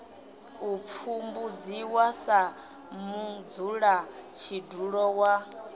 u pfumbudziwa sa mudzulatshidulo wa